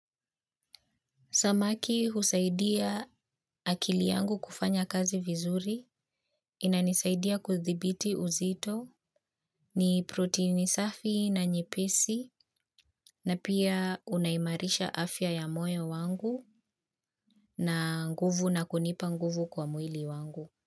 Samaki husaidia akili yangu kufanya kazi vizuri inanisaidia kuthibiti uzito ni proteini safi na nyepesi na pia unaimarisha afya ya moyo wangu na nguvu na kunipa nguvu kwa mwili wangu.